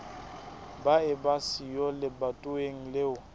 ba eba siyo lebatoweng leo